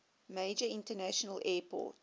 major international airport